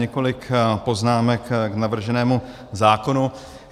Několik poznámek k navrženému zákonu.